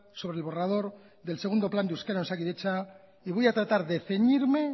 sobre el borrador del segundo plan de euskera en osakidetza y voy a tratar de ceñirme